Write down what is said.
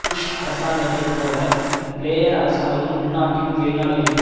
push அரசாங்கத்தை போல Blair அரசாங்கமும் உள்நாட்டிலும் வெளிநாடுகளிலும்